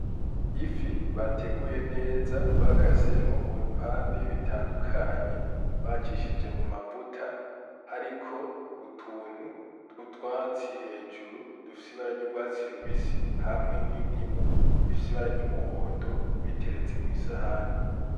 Ifi bateguye neza bakasemwo mu bipande bitandukanye, bacishije mu mavuta, hariko utuntu tw'utwatsi hejuru dufise ibara ry’urwatsi rubisi hamwe n’indimu ifise ibara ry’umuhondo biteretse ku isahani.